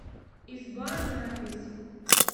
изба запись